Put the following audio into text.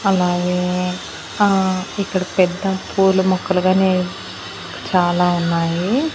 అలాగే ఆ ఇక్కడ పెద్ద పూలు మొక్కలు గాని చాలా ఉన్నాయి.